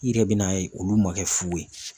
I yɛrɛ bɛ n'a ye olu ma kɛ fu ye.